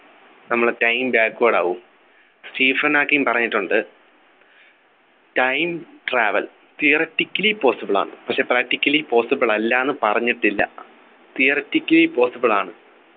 നമ്മുടെ Time backward ആവും Stephen Hawking പറഞ്ഞിട്ടുണ്ട് Time travel Theoretically possible ആണ് പക്ഷെ Practically possible അല്ല ന്നു പറഞ്ഞിട്ടില്ല Theoretically possible ആണ്